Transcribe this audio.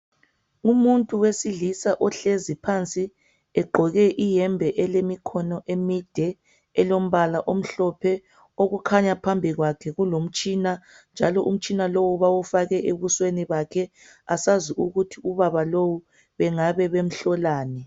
Umuntu wesilisa ohlezi phansi egqoke iyembe elemikhono emide elombala omhlophe okukhanya phambi kwakhe kulomtshina njalo umtshina lowu bawufake ebusweni bakhe asazi ukuthi ubaba lowu bengabe bemhlolani.